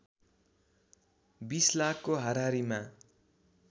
२० लाखको हाराहारिमा